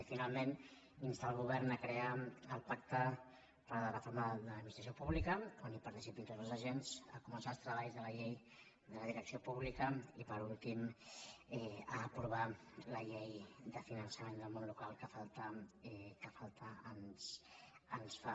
i finalment insta el govern a crear el pacte per a la reforma de l’adminis·tració pública on participin tots els agents a comen·çar els treballs de la llei de la direcció pública i per últim a aprovar la llei de finançament del món local que falta ens fa